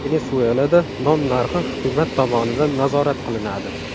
Venesuelada non narxi hukumat tomonidan nazorat qilinadi.